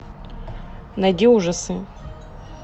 найди ужасы